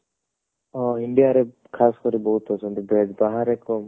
ଅ India ରେ ଖାସ କରି ବହୁତ ଅଛନ୍ତି veg ବାହାରେ କମ